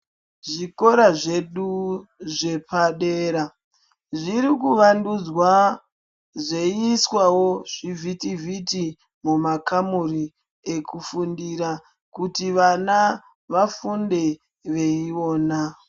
Zvikora zvedu zvepadera zviri kuvandudzwa zveiiswawo zvivhitivhiti mumakamuri ekufundira kuti vana vafunde veiona.